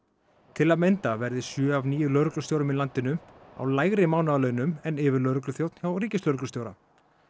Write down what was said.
til að mynda verði sjö af níu lögreglustjórum í landinu á lægri mánaðarlaunum en yfirlögregluþjónn hjá ríkislögreglustjóra